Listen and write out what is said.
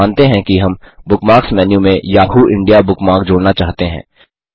मानते हैं कि हम बुकमार्क्स मेन्यू में याहू इंडिया बुकमार्क जोड़ना चाहते हैं